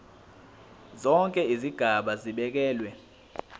zonke izigaba zibekelwe